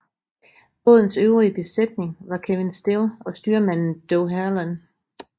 Bådens øvrige besætning var Kevin Still og styrmand Doug Herland